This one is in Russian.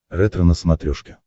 ретро на смотрешке